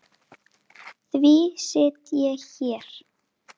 Reynir að hvæsa.